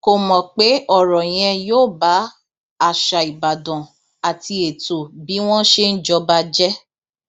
kò mọ pé ọrọ yẹn yóò ba àṣà ìbàdàn àti ètò bí wọn ṣe ń jọba jẹ